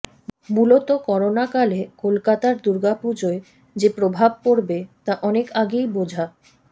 মূলত করোনাকালে কলকাতার দুর্গাপুজায় যে প্রভাব পড়বে তা অনেক আগেই বোঝা